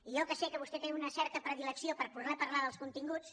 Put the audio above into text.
i jo que sé que vostè té una certa predilecció per poder parlar dels continguts